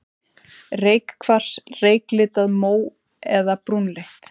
Reykkvars, reyklitað, mó- eða brúnleitt.